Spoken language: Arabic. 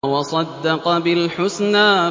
وَصَدَّقَ بِالْحُسْنَىٰ